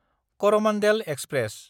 Coromandel express